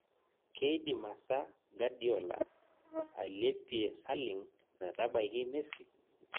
keidim asa gadiola alepie saling metabaiki mesi